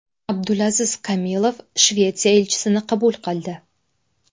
Abdulaziz Kamilov Shvetsiya elchisini qabul qildi.